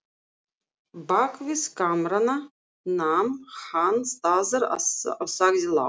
Bakvið kamrana nam hann staðar og sagði lágt